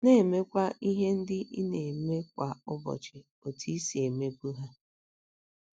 Na - emekwa ihe ndị ị na - eme kwa ụbọchị otú i si emebu ha.